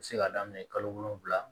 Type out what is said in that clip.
U bɛ se ka daminɛ kalo wolonwula